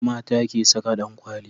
mata ke Saka dankwali